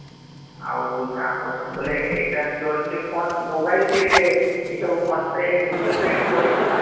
ଆଉ କାଁ କହୁଥିନି ବୋଲେ ଏଇଟା ତୋର ସେଇ phone mobile ଥିରେ ଏଇ ସବୁ phone pay google pay କରିଛୁ ମାନେ